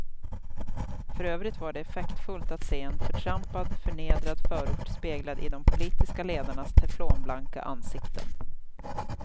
För övrigt var det effektfullt att se en förtrampad, förnedrad förort speglad i de politiska ledarnas teflonblanka ansikten.